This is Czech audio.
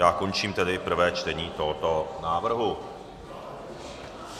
Já končím tedy prvé čtení tohoto návrhu.